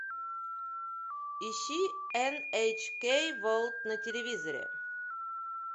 ищи эн эйч кей ворлд на телевизоре